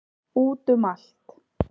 Út um allt.